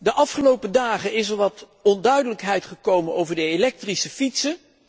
De afgelopen dagen is er wat onduidelijkheid gekomen over de elektrische fietsen.